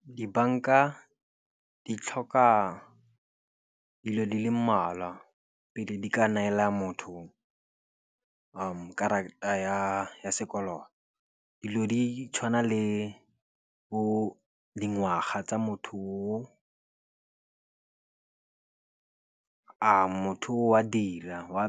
Dibanka di tlhoka dilo di le mmalwa pele di ka neela motho karata ya sekoloto. Dilo di tshwana le bo dingwaga tsa motho o a motho o a dira, go